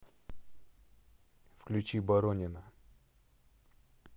включи боронина